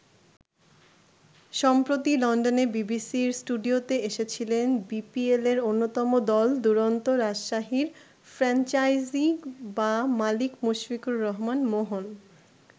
সম্প্রতি লন্ডনে বিবিসির স্টুডিওতে এসেছিলেন বিপিএলের অন্যতম দল দুরন্ত রাজশাহীর ফ্রাঞ্চাইজি বা মালিক মুশফিকুর রহমান মোহন।